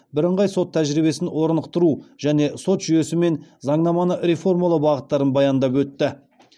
бірыңғай сот тәжірибесін орнықтыру және сот жүйесін мен заңнаманы реформалау бағыттарын баяндап өтті